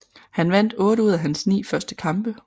Han vandt 8 ud af hans 9 første kampe